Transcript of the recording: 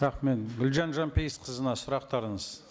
рахмет гүлжан жанпейісқызына сұрақтарыңыз